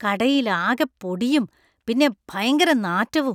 കടയിൽ ആകെ പൊടിയും പിന്നെ ഭയങ്കര നാറ്റവും .